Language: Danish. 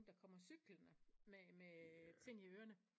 Der kommer cyklende med ting i ørerne